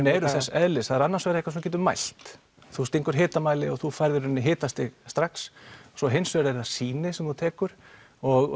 eru þess eðlis annars vegar eitthvað sem þú getur mælt þú stingur hitamæli og þú færð í rauninni hitastig strax svo hins vegar eru það sýni sem að þú tekur og